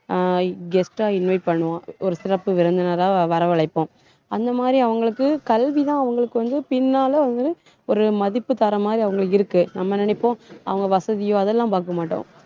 அஹ் guest ஆ invite பண்ணுவோம். ஒரு சிறப்பு விருந்தினரா வரவழைப்போம் அந்த மாதிரி அவங்களுக்கு கல்விதான் அவங்களுக்கு வந்து பின்னால வந்து ஒரு மதிப்பு தர்ற மாதிரி அவங்களுக்கு இருக்கு. நம்ம நினைப்போம் அவங்க வசதியோ அதெல்லாம் பார்க்க மாட்டோம்.